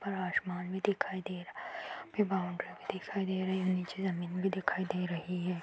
ऊपर आसमान भी दिखाई दे रहा है फिर बाउन्ड्री भी दिखाई दे रही है नीचे जमीन भी दिखाई दे रही है |